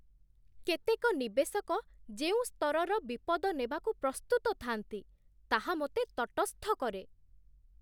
କେତେକ ନିବେଶକ ଯେଉଁ ସ୍ତରର ବିପଦ ନେବାକୁ ପ୍ରସ୍ତୁତ ଥାଆନ୍ତି, ତାହା ମୋତେ ତଟସ୍ଥ କରେ।